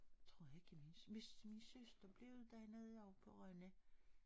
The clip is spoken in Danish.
Tror jeg ikke jeg vidste hvis min søster blev uddannet ovre på Rønne